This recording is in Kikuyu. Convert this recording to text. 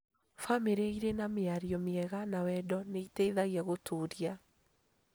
Bamĩrĩ ĩrĩ na mĩario mĩega na wendo nĩ ĩteithagia gũtũũria